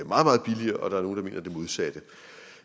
modsatte